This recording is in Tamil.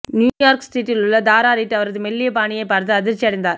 நியூ யார்க் ஸ்ட்ரீட்டிலுள்ள தாரா ரீட் அவரது மெல்லிய பாணியைப் பார்த்து அதிர்ச்சியடைந்தார்